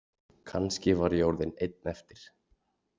Kannski var ég orðinn einn eftir.